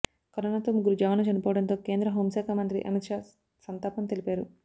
కరోనాతో ముగ్గురు జవాన్లు చనిపోవడంతో కేంద్ర హోంశాఖ మంత్రి అమిత్ షా సంతాపం తెలిపారు